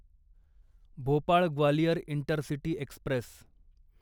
Bhopal Gwalior intercity Express